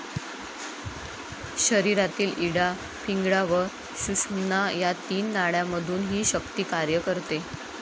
शरीरातील इडा, पिंगळा व सुषुम्ना या तीन नाड्यांमधून हि शक्ती कार्य करते.